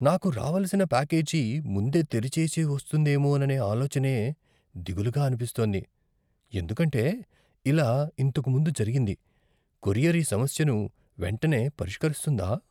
నాకు రావలసిన ప్యాకేజీ ముందే తెరిచేసి వస్తుందేమోననే ఆలోచనే దిగులుగా అనిపిస్తోంది, ఎందుకంటే ఇలా ఇంతకు ముందు జరిగింది, కొరియర్ ఈ సమస్యను వెంటనే పరిష్కరిస్తుందా?